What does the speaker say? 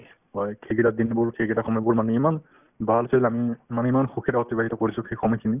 হয় সেইকেইটা দিনবোৰ সেইকেইটা সময়বোৰ ইমান ভালকে জানো মানে ইমান সুখেৰে অতিবাহিত কৰিছো সেই সময় খিনি